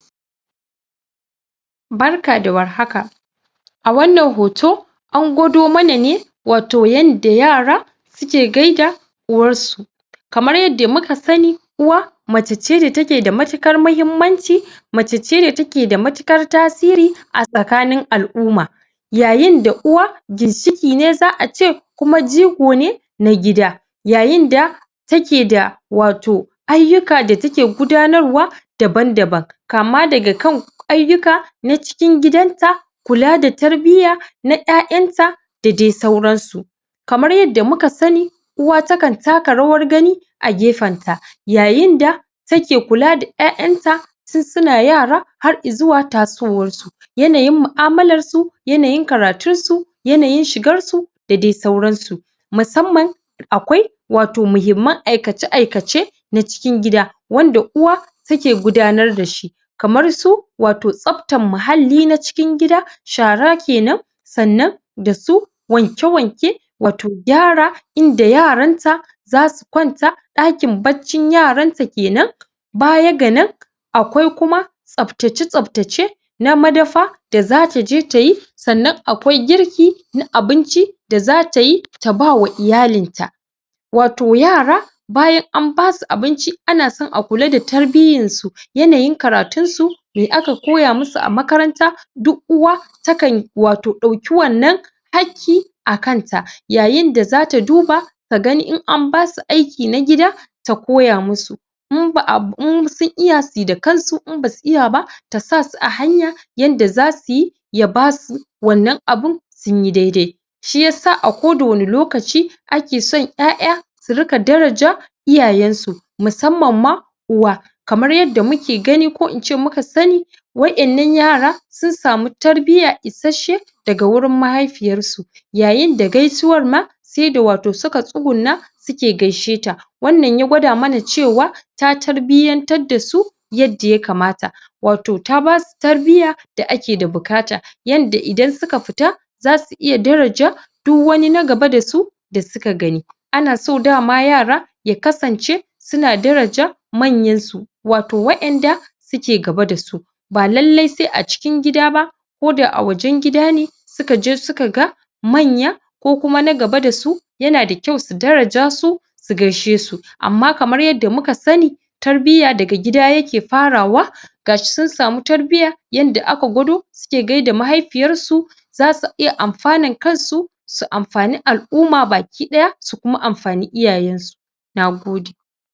Barka da warhaka a wannan hoto an gwado mana ne wato yanda yara suke gaida uwarsu kamar yanda muka sani uwa mace ce da take da matuƙar mahimmanci mace ce da take da matuƙar tasiri a tsakanin al'uma yayinda uwa ginshiƙi ne za a ce kuma jigo ne na gida yayinda take da wato ayyuka da take gudanarwa daban-daban kama daga kan ayyuka na cikin gidanta kula da tarbiya na ƴanƴanta a dai sauransu kamar yanda muka sani uwa takan taka rawar gani a gefenta yayinda take kula da ƴaƴanta tun suna yara har izuwa tasowarsu yanayi mu'amalansu yanayin karatunsu yanayin shigarsu da dai sauransu musamman akwai wato muhimman aikace-aikace na cikin gida wanda uwa take gudanar da shi kamar su wato tsaftan muhalli na cikin gida shara kenan sannan da su wanke-wanke wato gyara inda yaranta za su kwanta ɗakin baccin yaranta kenan baya ga nan akwai kuma tsaftace-tsaftace na madafa da zata je ta yi sannan akwai girki na abinci da zata yi ta ba wa iyalinta wato yara bayan an basu abinci ana san a kula da tarbiyyansu yanayin karatunsu me aka koya musu a makaranta duk uwa takan wato ɓauki wannan hakki a kanta yayinda za ta duba ta gani in an basu aiki na gida ta koya musu in ba'a in sun iya su yi da kansu in ba su iya ba ta sa su a hanya yanda zasu yi ya basu wannan abun sun yi daidai shi yasa a koda wani lokaci ake son ƴaƴa su riƙa daraja iyayensu musamman ma uwa kamar yanda muke gani ko in ce muka sani wa'innan yara sun samu tarbiyya isasshe daga wurin mahaifiyarsu yayinda gaisuwar ma sai da wato suka tsugunna suke gaisheta wannnan ya gwada mana cewa ta tarbiyyantar da su yadda ya kamata wato ta basu tarbiyya da ake da bukata yanda idan suka fita zasu iya daraja uk wani na gaba da su da suka gani ana so dama yara ya kasance suna daraja manyansu wato wa'inda suke gaba da su ba lalai sai a cikin gida ba ko da a wajen gida ne suka je suka ga manya ko kuma na gaba da su yana da kyau su daraja su su gaishesu amma kamar yanda muka sani tarbiyya daga gida yake farawa gashi sun samu tarbiya yanda aka gwado suke gaida mahaifiyarsu za su iya amfanan kansu su amfani al'uma baki-ɗaya su kuma amfani iyayensu na gode